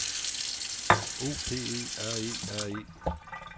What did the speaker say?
O P E R E R E